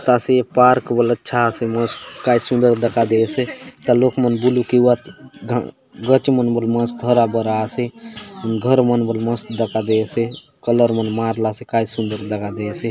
आसे पार्क बले अच्छा आसे मस्त काय सुंदर दखा देयसे एथा लोक मन बुलुक एवात ग गच मन बले मस्त हरा-भरा आसे घर मन बले मस्त दखा देयसे कलर मन मारला से काय सुंदर दखा देयसे।